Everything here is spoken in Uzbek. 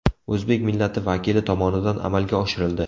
O‘zbek millati vakili tomonidan amalga oshirildi.